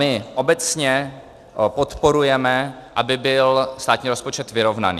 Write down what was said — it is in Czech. My obecně podporujeme, aby byl státní rozpočet vyrovnaný.